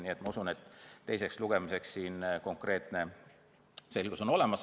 Nii et ma usun, et teiseks lugemiseks on konkreetne selgus olemas.